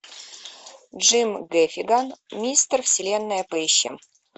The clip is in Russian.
джим гэффиган мистер вселенная поищи